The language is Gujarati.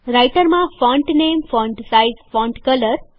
રાઈટરમાં font name font size font colour